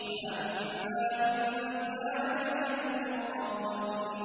فَأَمَّا إِن كَانَ مِنَ الْمُقَرَّبِينَ